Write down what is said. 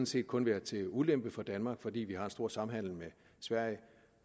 set kun været til ulempe for danmark fordi vi har en stor samhandel med sverige